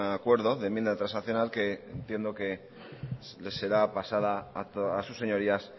acuerdo de enmienda transaccional que entiendo que les será pasada a sus señorías